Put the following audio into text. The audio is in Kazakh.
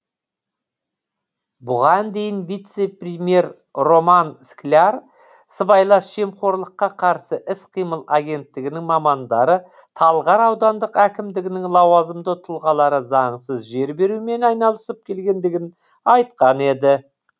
бұған дейін вице премьер роман скляр сыбайлас жемқорлыққа қарсы іс қимыл агенттігінің мамандары талғар аудандық әкімдігінің лауазымы тұлғалары заңсыз жер берумен айналысып келгендігін айтқан еді